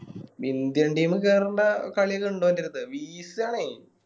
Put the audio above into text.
Indian team കേറണ്ട കളിഎല്ലാം ഇണ്ട് ഓൻറെ ട്ത്ത് വീശാണേ